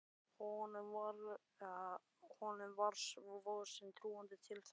Honum var svo sem trúandi til þess.